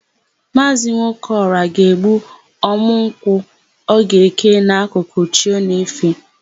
Maazị Nwokeọra ga-egbuta ọ̀mụ́ nkwụ ọ ga-eke n'akụkụ chi o na-efe.